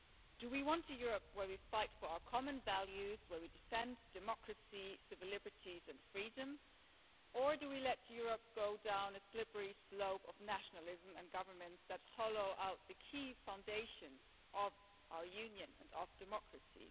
Do we want a Europe where we fight for our common values, where we defend democracy, civil liberties and freedom, or do we let Europe go down a slippery slope of nationalism and governments that hollow out the key foundations of our Union and of democracy?